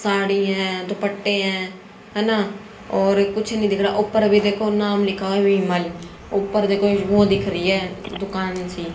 साड़ी है दुपट्टे हैं है ना और कुछ नहीं दिख रहा है ऊपर अभी देखो नाम लिखा हुआ है विमल ऊपर देखो वो दिख रही है दुकान सी --